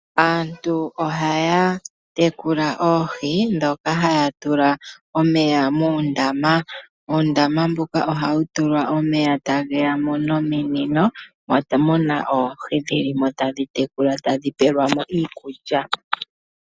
Aantu ohaya tekula oohi dhoka haya tula omeya muundama, uundama mbuka ohawu tulwa omeya ta geyamo nominino moka muna oohi taadhi tekulwa, tadhi peelwamo iikulya.